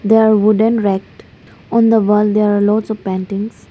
there are wooden racks on the wall there are lots of paintings.